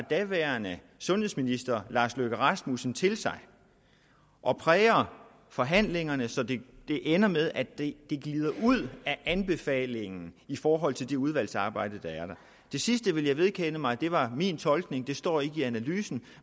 daværende sundhedsminister lars løkke rasmussen til sig og præger forhandlingerne så det ender med at det glider ud af anbefalingen i forhold til det udvalgsarbejde der er der det sidste vil jeg vedkende mig det var min tolkning det står ikke i analysen